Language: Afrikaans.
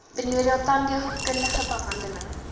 benodig tandheelkundige behandeling